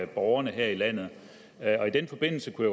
borgerne her i landet i den forbindelse kunne